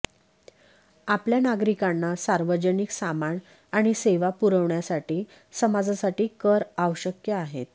आपल्या नागरिकांना सार्वजनिक सामान आणि सेवा पुरवण्यासाठी समाजासाठी कर आवश्यक आहेत